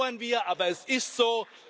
Das bedauern wir, aber es ist so.